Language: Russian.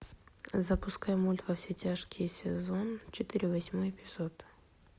запускай мульт во все тяжкие сезон четыре восьмой эпизод